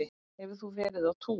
Hefur þú verið á túr?